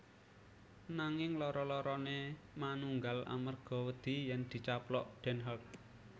Nanging loro loroné manunggal amerga wedi yèn dicaplok Den Haag